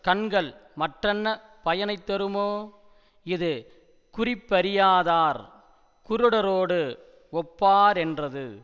கண்கள் மற்றென்ன பயனை தருமோ இது குறிப்பறியாதார் குருடரோடு ஒப்பா ரென்றது